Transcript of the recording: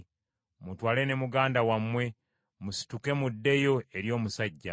Mutwale ne muganda wammwe, musituke muddeyo eri omusajja.